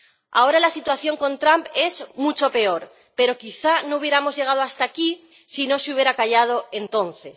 Ahora la situación con Trump es mucho peor, pero quizá no hubiéramos llegado hasta aquí si no se hubiera callado entonces.